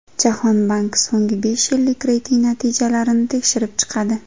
Jahon banki so‘nggi besh yillik reyting natijalarini tekshirib chiqadi.